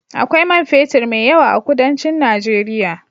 Akwai man fetur mai yawa a kudancin Nageria.